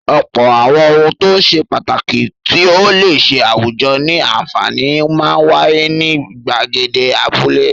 Ọ̀pọ̀ àwọn ohun tó ṣe pàtàkì tí ó le ṣe àwùjọ ní àǹfààní máa ń wáyé ní ìgbàgede abúlé.